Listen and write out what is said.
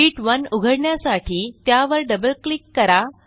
शीत1 उघडण्यासाठी त्यावर double click करा